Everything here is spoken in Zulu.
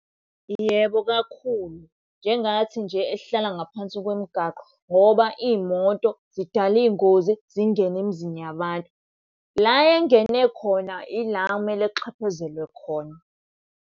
Yebo kakhulu. Njengathi nje esihlala ngaphansi kwemigaqo ngoba iy'moto zidala iy'ngozi zingene emizini yabantu. La engene khona ila ekumele kuxhephezelwe khona.